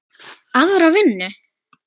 Aðra vinnu?